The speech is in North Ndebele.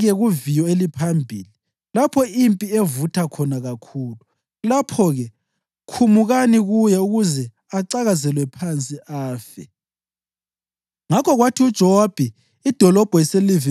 Kuyo wayelobe ukuthi, “U-Uriya mbeke kuviyo eliphambili lapho impi evutha khona kakhulu. Lapho-ke khumukani kuye ukuze acakazelwe phansi afe.”